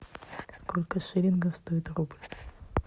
сколько шиллингов стоит рубль